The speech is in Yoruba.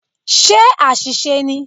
Ṣé àṣìṣe ni?